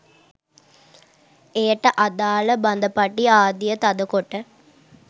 එයට අදාළ බඳපටි ආදිය තද කොට